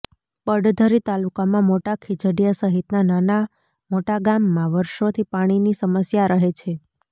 પડધરી તાલુકામાં મોટા ખીજડીયા સહિતના નાના મોટા ગામમાં વર્ષોથી પાણીની સમસ્યા રહે છે